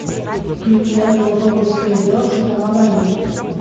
включай галапагосское дело сатана в раю